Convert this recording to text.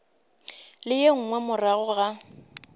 le ye nngwe morago ga